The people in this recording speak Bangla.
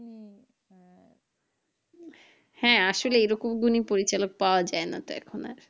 হ্যাঁ, আসলে এইরকম গুণী পরিচালক পাওয়া যাই না তো এখন আর